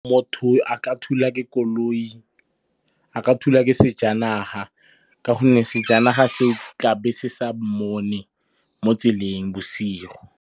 Motho a ka thulwa ke sejanaga, ka gonne sejanaga seo tla be se sa mmone mo tseleng bosigo.